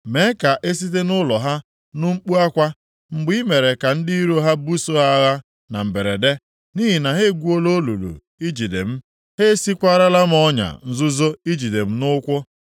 Mee ka e site nʼụlọ ha nụ mkpu akwa, mgbe i mere ka ndị iro ha buso ha agha na mberede. Nʼihi na ha egwuola olulu ijide m, ha esiekwarala m ọnya nzuzo ijide m nʼụkwụ.